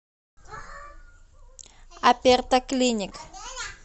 аперто клиник